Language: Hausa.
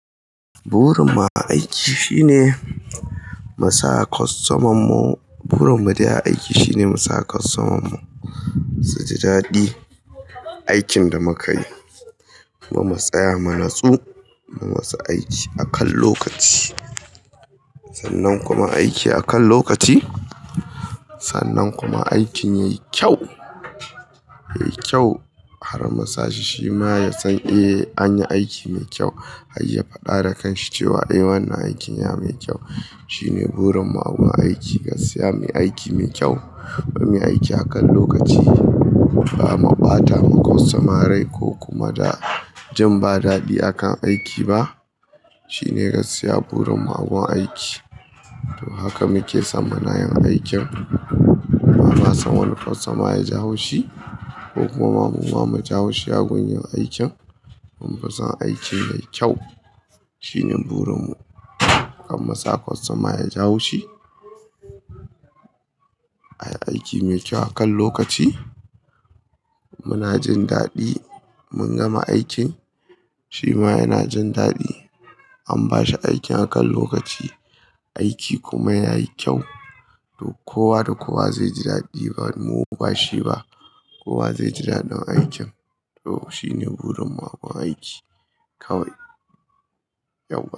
Burin mu a aiki shine mu sa kostomarmu-- burin mu dai a aiki shine mu sa kostoman mu su ji daɗi aikin da muka yi. Muma mu tsaya mu natsu, mu masu aiki akan lokaci. Sannan kuma aiki akan lokaci, sannan kuma aikin yayi kyau, yayi kyau har musa shi shima ya san eh anyi aiki mai kyau har ya faɗa da kanshi cewa eh wannan aikin ya mai kyau. Shine burin mu a gun aiki, gaskiya muyi aiki mai kyau, muyi aiki akan lokaci. Ba ma ɓata wa kwstoma rai ko kuma da jin ba daɗi akan aiki ba. Shine gaskiya burin mu a gun aiki. Haka muke son muna yin aikin. Ba ma son wani kwastoma ya ji haushi ko kuma mu ma mu ji haushi a gun yin aikin. Mun fi son aikin yayi kyau. Shine burin mu, kar mu sa kwastoma ya ji haushi. Munay aiki mai kyau akan lokaci, muna jin daɗi mun gama aikin shi ma yana jin daɗi an bashi aikin akan lokaci, aiki kuma yayi kyau. To kowa da kowa zai ji daɗi ba mu ba shi ba, kowa zai ji daɗin aikin. To shine burin mu a gun aiki kawai, yauwa.